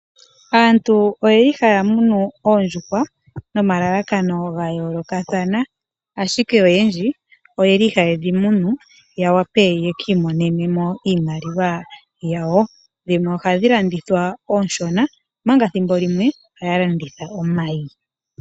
Aantu oye li haya munu oondjuhwa noma lalakano ga yoolokathana. Ashike oyendji oyeli haye dhi munu ya wape yeki imonene mo iimaliwa yawo. Dhimwe ohadhi landithwa onshona omanga thimbo limwe ohaya landitha omayi.